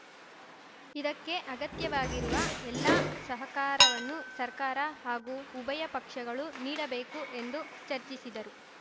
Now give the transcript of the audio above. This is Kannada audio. ಇದಕ್ಕೆ ಅಗತ್ಯವಾಗಿರುವ ಎಲ್ಲಾ ಸಹಕಾರವನ್ನು ಸರ್ಕಾರ ಹಾಗೂ ಉಭಯ ಪಕ್ಷಗಳು ನೀಡಬೇಕು ಎಂದು ಚರ್ಚಿಸಿದರು